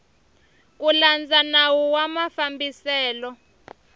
ku landza nawu wa mafambiselo